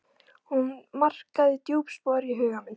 Hún markaði djúp spor í huga minn.